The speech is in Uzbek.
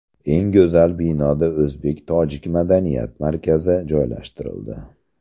Eng go‘zal binoda o‘zbek tojik madaniyat markazi joylashtirildi.